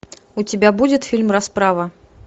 у тебя будет фильм расправа